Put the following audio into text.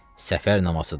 Səfər namazıdır.